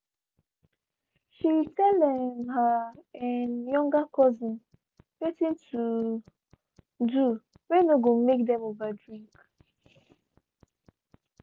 shey tell um her um younger cousins watin to do whey no go make them over drink.